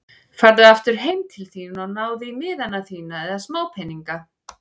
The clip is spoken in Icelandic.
Farðu aftur heim til þín og náðu í miðana þína eða smápeninga.